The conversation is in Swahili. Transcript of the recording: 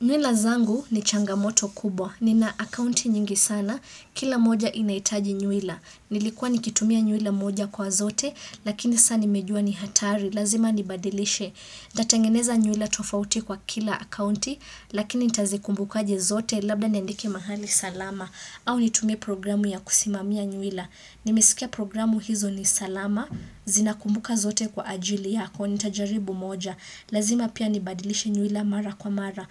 Nwila zangu ni changamoto kubwa. Nina akaunti nyingi sana. Kila moja inahitaji nywila. Nilikuwa nikitumia nywila moja kwa zote, lakini sasa nimejua ni hatari. Lazima nibadilishe. Nitatengeneza nywila tofauti kwa kila akaunti, lakini nitazikumbuka aje zote, labda niandike mahali salama. Au nitumie programu ya kusimamia nywila. Nimesikia programu hizo ni salama, zinakumbuka zote kwa ajili yako, nitajaribu moja, lazima pia nibadilishe nywila mara kwa mara,